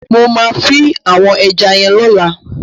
Mo ma fin àwon eja yen lọ́la